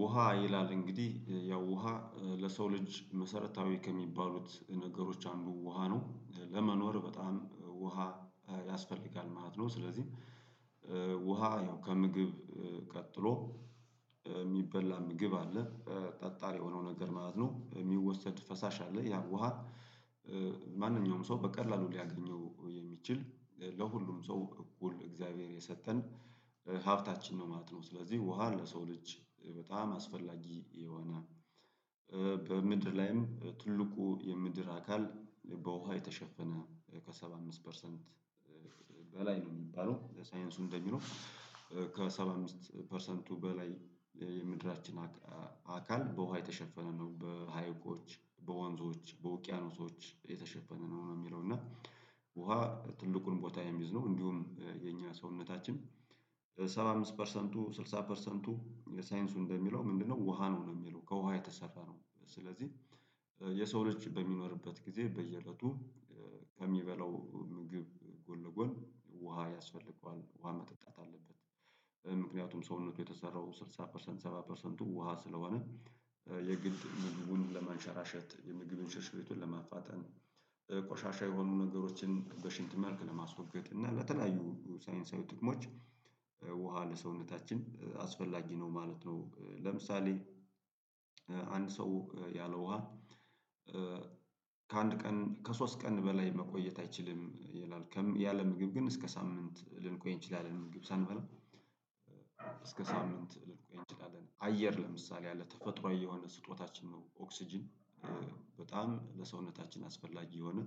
ውሃ ይላል እንግዲህ ያው ውሃ ለሰው ልጅ መሰረታዊ ከሚባሉት ነገሮች አንዱ ውሃ ነው ለመኖር በጣም ውሃ ያስፈልጋል ማለት ነው። ስለዚህ ውሃ ያው ከምግብ ቀጥሎ የሚበላ ምግብ አለ ጠጣር የሆነው ነገር ማለት ነው የሚወሰድ ፈሳሽ አለ ያ ውሃ። ማንኛውም ሰው በቀላሉ ሊያገኘው የሚችል ለሁሉም ሰው እኩል እግዚአብሔር የሰጠን ሀብታችን ነው ማለት ነው። ስለዚህ ውሃ ለሰው ልጅ በጣም አስፈላጊ የሆነ በምድር ላይም ትልቁ የምድር አካል በውሃ የተሸፈነ ከሰባ አምስት ፐርሰንት በላይ ነው። የሚባለው ሳይንሱ እንደሚለው ከሰባ አምስት ፐርሰንቱ በላይ የምድራችን አካል በውሃ የተሸፈነ ነው። በሀይቆች በወንዞች በውቅያኖሶች የተሸፈነ ነው ነው የሚለው እና ውሃ ትልቁን ቦታ የሚይዝ ነው። እንዲሁም የኛ ሰውነታችን ሰባ አምስት ፐርሰንቱ ስድሳ ፐርሰንቱ ሳይንሱ እንደሚለው ምንድነው ውሃ ነው የሚለው ከውሃ የተሰራ ነው። ስለዚህ የሰው ልጅ በሚኖርበት ጊዜ በየእለቱ ከሚበላው ምግብ ጎንለጎን ውሃ ያስፈልገዋል ውሃ መጠጣት አለበት። ምክንያቱም ሰውነቱ የተሰራው ስድሳ ፐርሰንት ሰባ ፐርሰንቱ ውሃ ስለሆነ የግድ ምግቡን ለማንሸራሸት ምግብን ሽርሽሪቱን ለማፋጠን ቆሻሻ የሆኑ ነገሮችን በሽንትም መልክ ለማስወገድ እና በተለያዩ ሳይንሳዊ ጥቅሞች ውሃ ለሰውነታችን አስፈላጊ ነው ማለት ነው። ለምሳሌ አንድ ሰው ያለ ውሃ ከአንድ ቀን ከሶስት ቀን በላይ መቆየት አይችልም። ይላል ያለ ምግብ ግን እስከ ሳምንት ልንቆይ እንችላለን ምግብ ሳንበላ እስከ ሳምንት ልልኩ ይችላል። አየር ለምሳሌ ያለ ተፈጥሮአዊ የሆነ ስጦታችን ነው። ኦክስጅን በጣም ለሰውነታችን አስፈላጊ የሆነ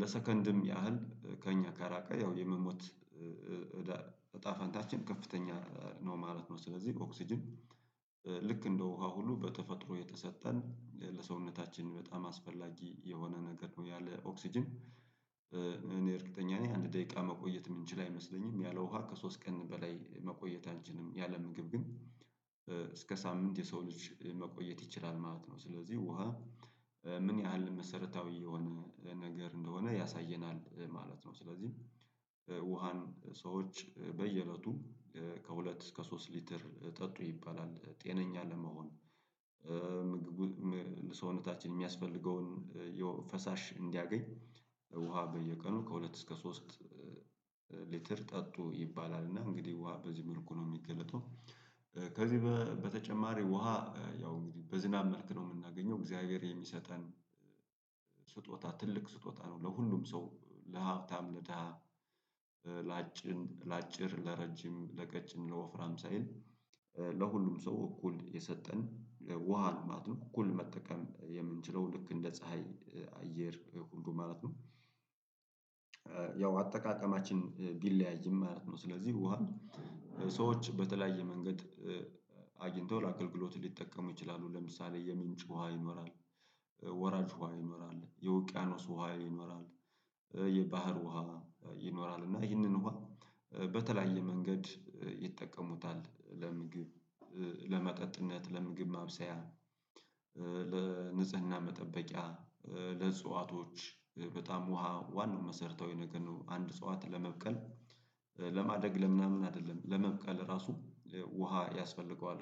ለሰከንድም ያህል ከእኛ ከራቀ ያው የመሞት እዳ እጣ ፋንታችን ከፍተኛ ነው ማለት ነው። ስለዚህ ኦክስጅን ልክ እንደ ውሃ ሁሉ በተፈጥሮ የተሰጠን ለሰውነታችን በጣም አስፈላጊ የሆነ ነገር ነው። ያለ ኦክስጅን እኔ እርግጠኛ ነኝ አንድ ደቂቃ መቆየት የምንችል አይመስለኝም ያለ ውሃ ከሶስት ቀን በላይ መቆየታችንም ያለምግብ ግን እስከ ሳምንት የሰው ልጅ መቆየት ይችላል ማለት ነው። ስለዚህ ውሃ ምን ያህል መሰረታዊ የሆነ ነገር እንደሆነ ያሳየናል ማለት ነው። ስለዚህ ውሃን ሰዎች በየእለቱም ከሁለት እስከ ሶስት ሊትር ጠጡ ይባላል ጤነኛ ለመሆን ለሰውነታችን የሚያስፈልገውን ፈሳሽ እንዲያገኝ ውሃ በየቀኑ ከሁለት እስከ ሶስት ሊትር ጠጡ ይባላል። እና እንግዲህ ውሃ በዚህ መልኩ ነው የሚገለጠው። ከዚህ በተጨማሪ ውሃ ያው እንግዲህ በዝናብ መልክ ነው የምናገኘው እግዚአብሔር የሚሰጠን ስጦታ ትልቅ ስጦታ ነው። ለሁሉም ሰው ለሀብታም ለደሀ ላጭን ላጭር ለረጅም ለቀጭን ለወፍራም ሳይል ለሁሉም ሰው እኩል የሰጠን ውሃ ነው ማለት ነው። እኩል መጠቀም የምንችለው ልክ እንደ ፀሀይ አየር ሁንዱ ማለት ነው ያው አጠቃቀማችን ቢለያይም ማለት ነው። ስለዚህ ውሃ ሰዎች በተለያየ መንገድ አግኝቶ ለአገልግሎት ሊጠቀሙ ይችላሉ። ለምሳሌ የሚንጭ ውሃ ይኖራል። ወራጅ ውሃ ይኖራል የውቅያኖስ ውሃ ይኖራል። የባህር ውሃ ይኖራል እና ይህንን ውሃ በተለያየ መንገድ ይጠቀሙታል። ለምግብ ለመጠጥነት ለምግብ ማብሰያ ለንጽህና መጠበቂያ ለእጽዋቶች በጣም ውሃ ዋናው መሰረታዊ ነገር ነው። አንድ እጽዋት ለመብቀል ለማደግ ለምናምን አይደለም ለመብቀል ራሱ ውሃ ያስፈልገዋል።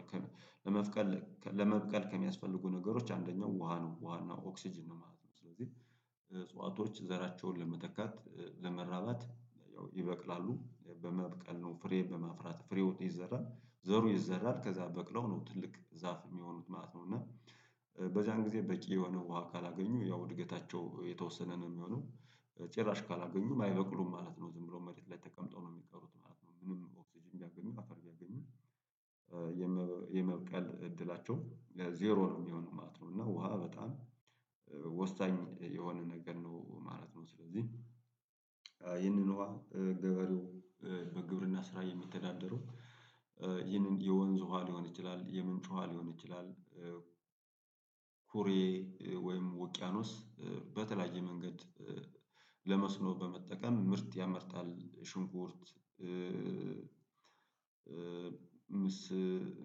ለመብቀል ለመብቀል ከሚያስፈልጉ ነገሮች አንደኛው ውሃ ነው። ውሃና ኦክስጅን ማለት ነው። ስለዚህ እጽዋቶች ዘራቸውን ለመተካት ለመራባት ያው ይበቅላሉ በመብቀል ነው ፍሬ በመፍራት ፍሬ ውጥ ይዘራል ዘሩ ይዘራል ከዛ በቅለው ነው ትልቅ ዛፍ የሚሆኑት ማለት ነው። እና በዛን ጊዜ በቂ የሆነ ውሃ ካላገኙ ያው እድገታቸው የተወሰነ ነው የሚሆነው። ጭራሽ ካላገኙም አይበቅሉም ማለት ነው። ዝም ብሎ መሬት ላይ ተቀምጠው ነው የሚቀሩት ማለት ነው። ምንም ኦክስጅ እንዲያገኙ አተር እንዲያገኙ የመብቀል እድላቸው ዜሮ ነው የሚሆነው ማለት ነው። እና ውሃ በጣም ወሳኝ የሆነ ነገር ነው ማለት ነው። ስለዚህ ይህንን ውሃ ገበሬው በግብርና ስራ የሚተዳደሩ ይህንን የወንዝ ውሃ ሊሆን ይችላል የምንጮሃ ሊሆን ይችላል። ኩሬ ወይም ውቅያኖስ በተለያየ መንገድ ለመስኖ በመጠቀም ምርጥ ያመርጣል ሽንቁርት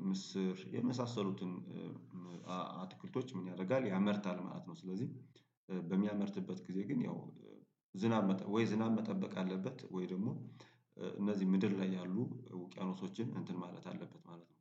ምስር የመሳሰሉትን አትክልቶች ምን ያደርጋል ያመርታል ማለት ነው። ስለዚህ በሚያመርትበት ጊዜ ግን ያው ዝናብ ወይ ዝናብ መጠበቅ አለበት። ወይ ደግሞ እነዚህ ምድር ላይ ያሉ ውቅያኖሶችን እንትን ማለት አለበት ማለት ነው